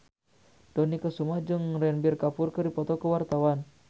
Dony Kesuma jeung Ranbir Kapoor keur dipoto ku wartawan